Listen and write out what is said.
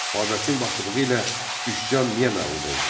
Babəkin başçılığı ilə üsyan niyə məğlub oldu?